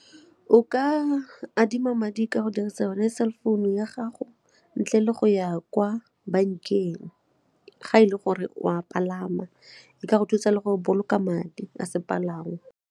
O ka adima madi ka go dirisa yone cell founu ya gago ntle le go ya kwa bankeng ga e le gore o a palama, e ka go thusa le go boloka madi a sepalangwa.